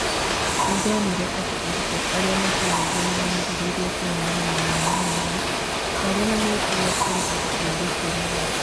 "Nĩ ndonire atĩ arutwo arĩa mataragia nĩ maambĩrĩirie kũheana mawoni mao marĩ na mwĩtĩo kũrĩ andũ a riika rĩao. "